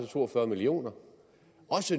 to og fyrre million